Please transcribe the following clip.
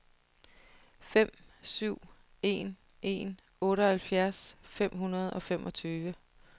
fem syv en en otteoghalvfjerds fem hundrede og femogtyve